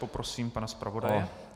Poprosím pana zpravodaje.